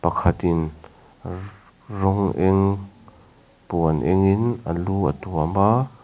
pakhat in rawng eng puan eng in a lu a tuam a.